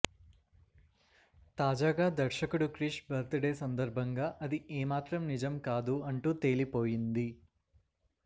తాజాగా దర్శకుడు Krish birthday సందర్బంగా అది ఏమాత్రం నిజం కాదు అంటూ తేలిపోయింది